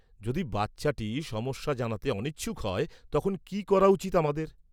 -যদি বাচ্চাটি সমস্যা জানাতে অনিচ্ছুক হয় তখন কী করা উচিত আমাদের?